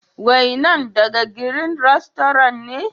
Wainan daga " green restaurants " ne?